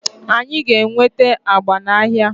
anyị ga-enweta agba n'ahịa